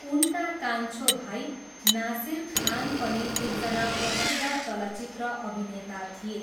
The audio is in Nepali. उनका कान्छो भाइ नासिर खान पनि एकजना प्रसिद्ध चलचित्र अभिनेता थिए।